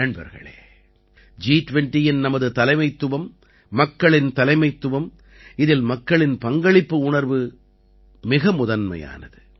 நண்பர்களே ஜி20யின் நமது தலைமைத்துவம் மக்களின் தலைமைத்துவம் இதில் மக்களின் பங்களிப்பு உணர்வு மிக முதன்மையானது